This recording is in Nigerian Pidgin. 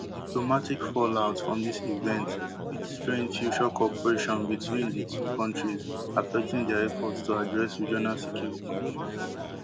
di diplomatic fallout from dis event fit strain future cooperation between di two countries affecting dia efforts to address regional security issues